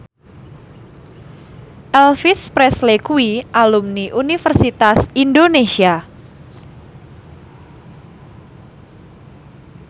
Elvis Presley kuwi alumni Universitas Indonesia